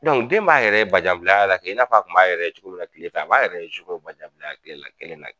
den m'a yɛrɛ bajanbilaya la kɛ, i n'a fɔ a kun b'a yɛrɛ ye cogo min na kile fɛ, a b'a yɛrɛ ye sufɛ o bajanbilaya kɛ kelen na